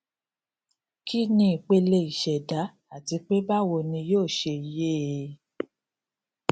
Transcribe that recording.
kí ni ìpele ìṣẹdá àti pé báwo ni yóò ṣe yè é